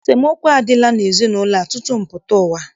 Esemookwu adịla n'ezinaụlọ a tutu m pụta ụwa.